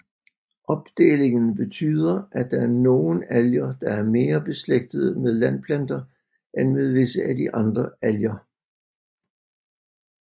Opdelingen betyder at der er nogen alger der er mere beslægtede med landplanter end med visse af de andre alger